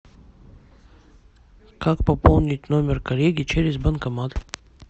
как пополнить номер коллеги через банкомат